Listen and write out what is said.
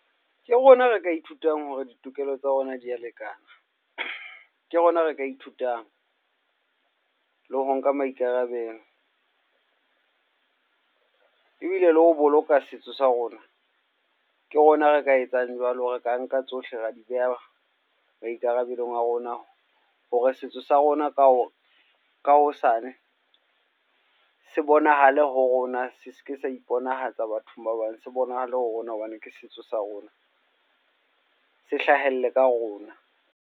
Ke rona re ka ithutang hore ditokelo tsa rona di a lekana, ke rona re ka ithutang le ho nka maikarabelo. Ebile le ho boloka setso sa rona, ke rona re ka etsang jwalo. Re ka nka tsohle ra di beha maikarabelo a rona hore setso sa rona ka hosane se bonahale ho rona, se se ke sa iponahatsa bathong ba bang. Se bonahale ho rona hobane ke setso sa rona, se hlahelle ka ho rona.